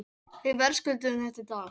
Við verðskulduðum þetta í dag.